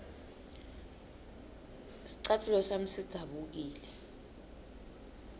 scatfulo sami sidzabukile